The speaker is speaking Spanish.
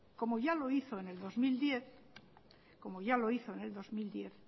como ya lo hizo en el dos mil diez